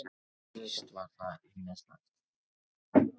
Víst var það ýmislegt.